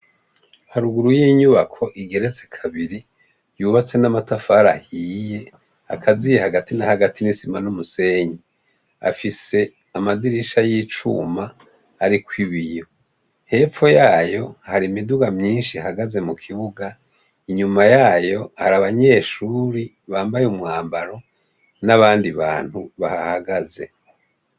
Haruguru y'inyubako igeretse kabiri, yubatse n'amatafari ahiye akaziye hagati na hagati n'isima n'umusenyi. Afise amadirisha y'icuma ariko ibiyo. Hepfo yayo, hari imiduga myishi ihagaze mu kibuga, inyuma yayo, hari abanyeshuri bambaye umwambaro n'abandi bantu bahahagaze.